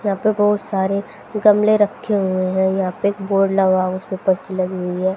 यहां पर बहोत सारे गमले रखे हुए हैं यहां पे बोर्ड लगा उसे पे पर्ची लगी हुई है।